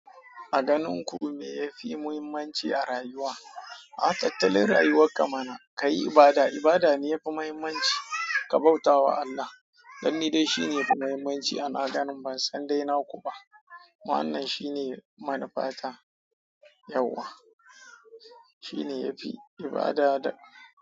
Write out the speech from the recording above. A ganin ku me ya fi muhimmanci a rayuwa? A tattalin rayuwa kamar ka yi ibada, ibada ne yafi muhimmanci. Ka bauta wa Allah, dan ni dai shine yafi muhimmanci a na ganin ban san dai na ku ba. Wannan shine manufata, yauwa shine yafi ibada da.